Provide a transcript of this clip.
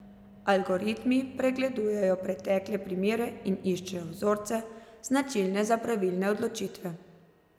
Algoritmi pregledujejo pretekle primere in iščejo vzorce, značilne za pravilne odločitve.